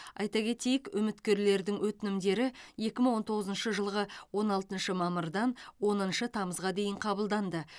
айта кетейік үміткерлердің өтінімдері екі мың он тоғызыншы жылғы он алтыншы мамырдан оныншы тамызға дейін қабылданды